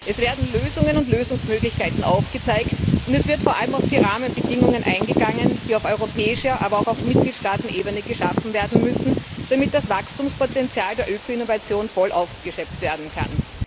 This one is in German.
Es werden Lösungen und Lösungsmöglichkeiten aufgezeigt, und es wird vor allem auf die Rahmenbedingungen eingegangen, die auf europäischer aber auch auf Mitgliedstaatenebene geschaffen werden müssen, damit das Wachstumspotenzial der Öko Innovation voll ausgeschöpft werden kann.